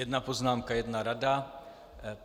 Jedna poznámka, jedna rada.